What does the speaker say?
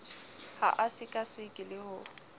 ha a sekaseka le ho